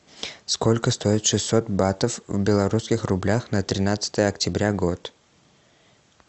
сколько стоит шестьсот батов в белорусских рублях на тринадцатое октября год